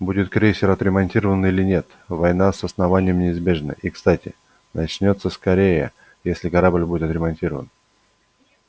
будет крейсер отремонтирован или нет война с основанием неизбежна и кстати начнётся скорее если корабль будет отремонтирован